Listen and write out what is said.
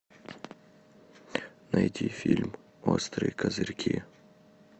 найти фильм острые козырьки